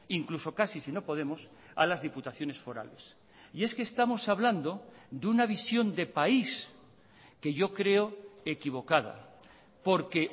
incluso casi si no podemos a las diputaciones forales y es que estamos hablando de una visión de país que yo creo equivocada porque